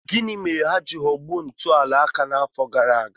Gịnị mere ha ji ghọgbuo ntuliaka n'afọ gara aga?